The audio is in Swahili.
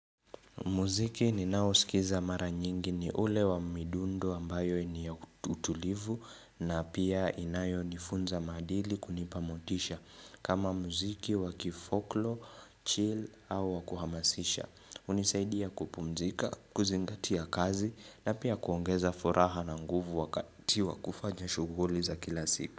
Muziki ninaosikiza mara nyingi ni ule wa midundo ambayo ni ya utulivu na pia inayonifunza maadili kunipa motisha kama muziki wakifoklo, chill au wa kuhamasisha. Hunisaidia kupumzika, kuzingatia kazi na pia kuongeza furaha na nguvu wakati wa kufanya shughuli za kila siku.